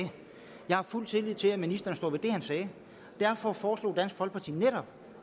jeg har fuld tillid til at ministeren står ved det han sagde derfor foreslog dansk folkeparti netop